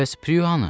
Bəs Prue hanı?